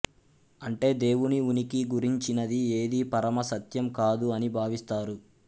అంటే దేవుని ఉనికి గురించినది ఏదీ పరమ సత్యం కాదు అని భావిస్తారు